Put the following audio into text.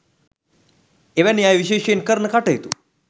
එවැනි අය විශේෂයෙන් කරන කටයුතු